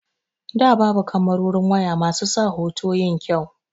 Da babu kamarorin waya basu sa hoto yin kyau.